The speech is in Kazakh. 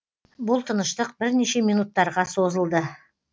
бұл тыныштық бірнеше минуттарға созылды